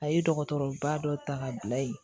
A ye dɔgɔtɔrɔba dɔ ta ka bila yen